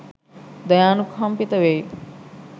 දයානුකම්පිත වෙයි.